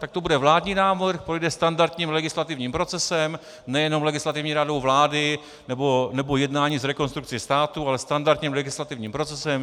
Tak to bude vládní návrh, projde standardním legislativním procesem, nejenom Legislativní radou vlády nebo jednáním s Rekonstrukcí státu, ale standardním legislativním procesem.